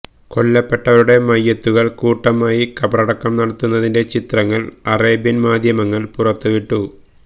കൊല്ലപ്പെട്ടവരുടെ മയ്യിത്തുകള് കൂട്ടമായി ഖബറടക്കം നടത്തുന്നതിന്റെ ചിത്രങ്ങള് അറേബ്യന് മാധ്യമങ്ങള് പുറത്തുവിട്ടു